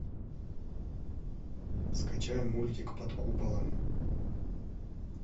скачай мультик под куполом